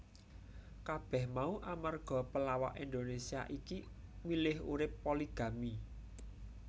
Kabeh mau amarga pelawak Indonesia iki milih urip poligami